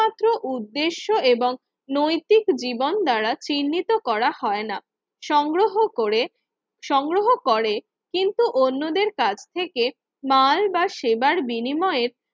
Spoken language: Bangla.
উদ্দেশ্য এবং নৈতিক জীবন দ্বারা চিহ্নিত করা হয় না। সংগ্রহ করে সংগ্রহ করে কিন্তু অন্যদের কাছ থেকে মাল বা সেবার বিনিময়ে